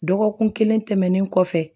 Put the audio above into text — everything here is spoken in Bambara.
Dɔgɔkun kelen tɛmɛnen kɔfɛ